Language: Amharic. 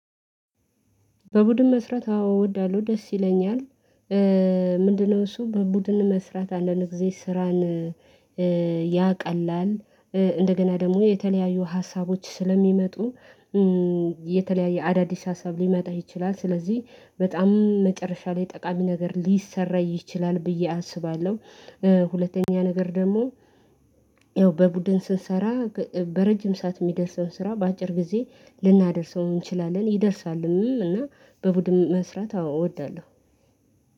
በቡድን መስራት አዎ እወዳለሁ ደስ ይለኛል ምንድነው እሱ በቡድን መስራት አንዳንድ ጊዜ ስራን ያቀላል እንደገና ደግሞ የተለያዩ ሀሳቦች ስለሚመጡ የተለያየ አዳዲስ ሀሳብ ሊመጣ ይችላል ስለዚህ በጣም መጨረሻ ላይ ጠቃሚ ነገር ሊሰራ ይችላል ብዬ አስባለሁ ሁለተኛ ነገር ደግሞ ያው በቡድን ስንሰራ በረጅም ሰዓት የሚደርሰውን ስራ በአጭር ጊዜ ልናደርሰው እንችላለን ይደርሳልም እና በቡድን መስራት አወዳለሁ።